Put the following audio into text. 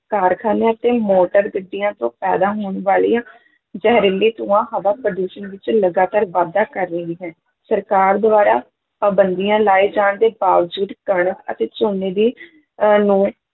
ਕਾਰਖਾਨਿਆਂ ਅਤੇ ਮੋਟਰ-ਗੱਡੀਆਂ ਤੋਂ ਪੈਦਾ ਹੋਣ ਵਾਲੀਆਂ ਜ਼ਹਰੀਲੇ ਧੂਆਂ ਹਵਾ-ਪ੍ਰਦੂਸ਼ਣ ਵਿੱਚ ਲਗਾਤਾਰ ਵਾਧਾ ਕਰ ਰਹੀ ਹੈ, ਸਰਕਾਰ ਦੁਆਰਾ ਪਾਬੰਦੀਆਂ ਲਾਏ ਜਾਣ ਦੇ ਬਾਵਜੂਦ ਕਣਕ ਅਤੇ ਝੋਨੇ ਦੀ ਅਹ ਨੇ